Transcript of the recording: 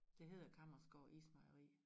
Det hedder Kammersgaard Ismejeri